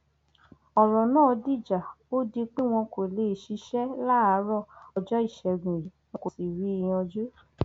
ọrọ náà dìjà ó di pé wọn kò lè ṣiṣẹ láàárọ ọjọ ìṣègùn yìí wọn kò sì rí i yanjú